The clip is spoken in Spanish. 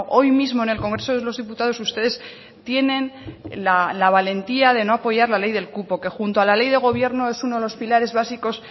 hoy mismo en el congreso de los diputados ustedes tienen la valentía de no apoyar la ley del cupo que junto a la ley de gobierno es uno de los pilares básicos